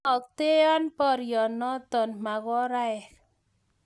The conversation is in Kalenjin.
inoktoen boryonoto mokoraek